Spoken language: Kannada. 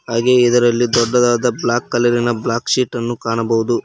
ಹಾಗೆ ಇದರಲ್ಲಿ ದೊಡ್ಡದಾದ ಬ್ಲಾಕ್ ಕಲರಿನ ಬ್ಲಾಕ್ ಶೀಟನ್ನು ಕಾಣಬಹುದು.